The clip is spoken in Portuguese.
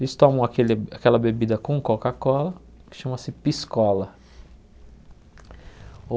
Eles tomam aquele aquela bebida com Coca-Cola, que chama-se Piscola.